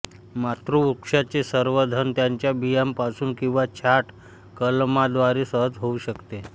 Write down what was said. ताम्रवृक्षाचे संवर्धन त्याच्या बियांपासून किंवा छाट कलमाद्वारे सहज होऊ शकते